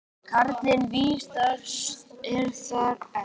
Karlinn vísast er þar enn.